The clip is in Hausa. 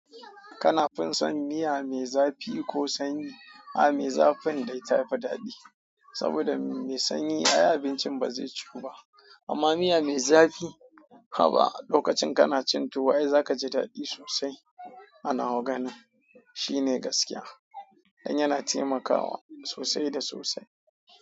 Kana fin son miya mai zafi ko sanyi? A'a, mai zafin dai ta fi daɗi saboda mai sanyi ai abincin ba zai ciwu ba amma miya mai zafi haba lokacin kana cin tuwo ai za ka ji daɗi sosai. Anwaa ganin shine gaskiya dan yana taimakawa sosai da sosai.